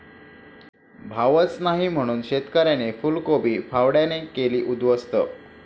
भावच नाही म्हणून शेतकऱ्याने फुलकोबी फावड्याने केली उद्ध्वस्त